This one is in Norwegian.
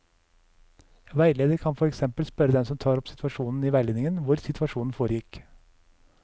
Veileder kan for eksempel spørre den som tar opp situasjonen i veiledningen, hvor situasjonen foregikk.